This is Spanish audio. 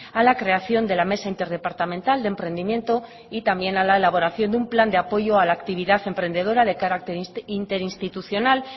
a la creación de la mesa interdepartamental de emprendimiento y también a la elaboración de un plan de apoyo a la actividad emprendedora de carácter interinstitucional